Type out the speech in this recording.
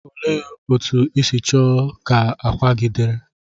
Olee otú ịsi choo ka akwa gi diri?